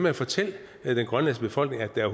at fortælle den grønlandske befolkning at der